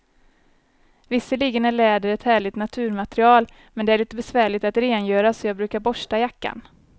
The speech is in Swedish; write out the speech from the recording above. Visserligen är läder ett härligt naturmaterial, men det är lite besvärligt att rengöra, så jag brukar borsta jackan.